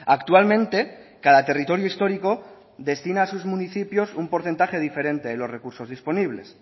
actualmente cada territorio histórico destina a sus municipios un porcentaje diferente de los recursos disponibles